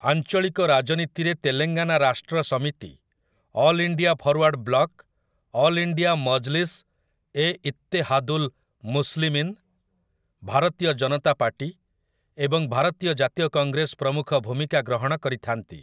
ଆଞ୍ଚଳିକ ରାଜନୀତିରେ Telangana Rashtra Samithi, all India forward block, all India Majlis Ittehadul Muslimeen, Bharatiya Janata party ଏବଂ ଭାରତୀୟ ଜାତୀୟ କଂଗ୍ରେସ ପ୍ରମୁଖ ଭୂମିକା ଗ୍ରହଣ କରିଥାନ୍ତି ।